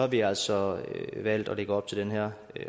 vi altså valgt at lægge op til den her